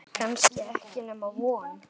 Kannski ekki nema von.